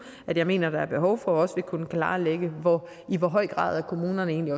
at jeg mener der er behov for også vil kunne klarlægge i hvor høj grad kommunerne egentlig